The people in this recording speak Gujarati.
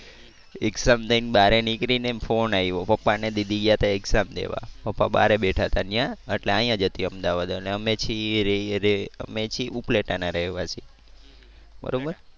exam દઈ ને બારે નીકળી ને ફોન આવ્યો પપ્પા ને દીદી ગયા તા exam દેવા પપ્પા બારે બેઠા તા ત્યાં એટલે આયા જ હતી અમદાવાદ અને અમે છીએ રે રે અમે છીએ ઉપલેટા ના રહેવાસી બરોબર